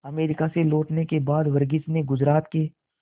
America से लौटने के बाद वर्गीज ने गुजरात के